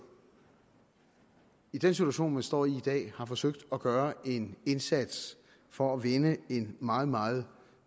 i den situation som de står i i dag har forsøgt at gøre en indsats for at vende en meget meget